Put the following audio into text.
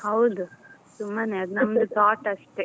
ಹೌದು ಸುಮ್ಮನೆ ಅದ್ ನಮ್ದು thought ಅಷ್ಟೇ.